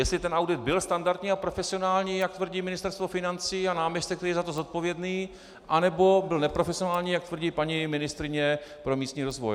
Jestli ten audit byl standardní a profesionální, jak tvrdí Ministerstvo financí a náměstek, který je za to zodpovědný, anebo byl neprofesionální, jak tvrdí paní ministryně pro místní rozvoj.